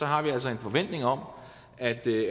har vi altså en forventning om at i